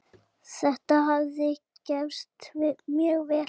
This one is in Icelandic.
Þetta hafi gefist mjög vel.